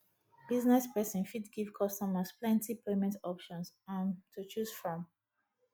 business person fit give customers plenty payment options um to choose from